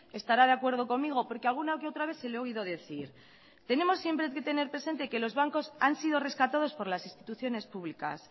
estará de acuerdo conmigo porque alguna que otra vez se le he oído decir tenemos siempre que tener presente que los bancos han sido rescatados por las instituciones públicas